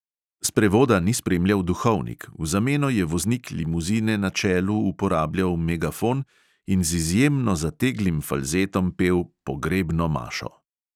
Sprevoda ni spremljal duhovnik, v zameno je voznik limuzine na čelu uporabljal megafon in z izjemno zateglim falzetom pel "pogrebno mašo".